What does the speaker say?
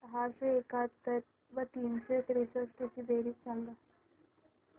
सहाशे एकाहत्तर व तीनशे त्रेसष्ट ची बेरीज सांगा